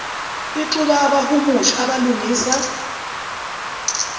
ixube abahumushi abalungisa